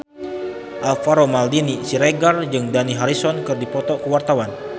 Alvaro Maldini Siregar jeung Dani Harrison keur dipoto ku wartawan